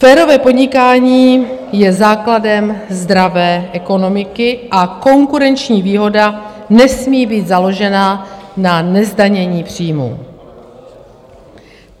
Férové podnikání je základem zdravé ekonomiky a konkurenční výhoda nesmí být založena na nezdanění příjmů.